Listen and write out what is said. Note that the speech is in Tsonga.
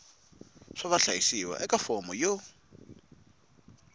xa vahlayisiwa eka fomo yo